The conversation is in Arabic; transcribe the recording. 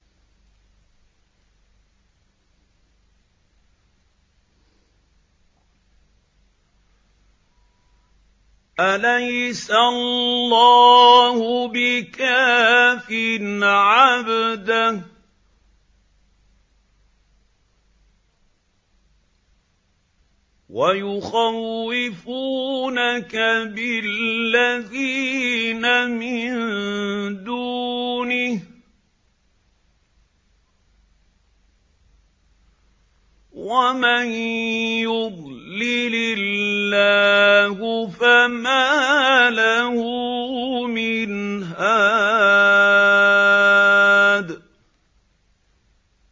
أَلَيْسَ اللَّهُ بِكَافٍ عَبْدَهُ ۖ وَيُخَوِّفُونَكَ بِالَّذِينَ مِن دُونِهِ ۚ وَمَن يُضْلِلِ اللَّهُ فَمَا لَهُ مِنْ هَادٍ